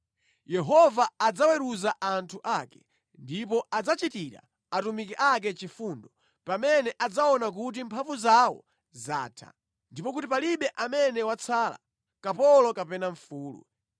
Yehova adzaweruza anthu ake ndipo adzachitira atumiki ake chifundo pamene adzaona kuti mphamvu zawo zatha ndipo kuti palibe amene watsala, kapolo kapena mfulu.